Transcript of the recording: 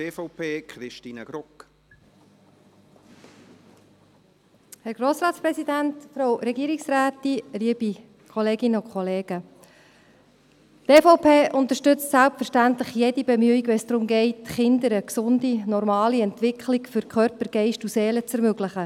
Die EVP unterstützt selbstverständlich jede Bemühung, wenn es darum geht, Kindern eine gesunde, normale Entwicklung für Körper, Geist und Seele zu ermöglichen.